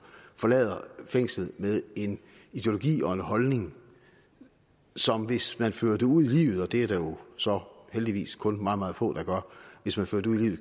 forlader fængslet med en ideologi og en holdning som hvis man fører det ud i livet og det er der jo så heldigvis kun meget meget få der gør